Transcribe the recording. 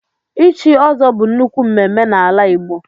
ichi ọ́zọ́ bu nnukwu mmemmé n'ala igbo